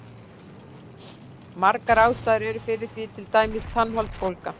Margar ástæður eru fyrir því, til dæmis tannholdsbólga.